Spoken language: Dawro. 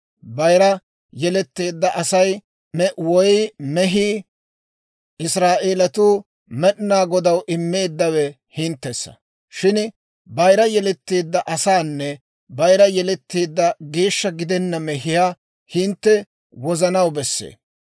Bayira yeletteedda Asay woy mehii, Israa'eelatuu Med'inaa Godaw immeeddawe hinttessa. Shin bayira yeletteedda asanne bayira yeletteedda geeshsha gidenna mehiyaa hintte wozanaw besse.